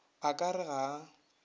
o ka re ga a